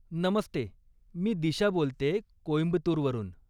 नमस्ते, मी दिशा बोलतेय, कोइम्बतुर वरून.